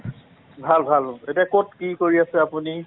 ভাল ভাল। এতিয়া কত কি কৰি আছে আপুনি?